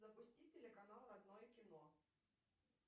запусти телеканал родное кино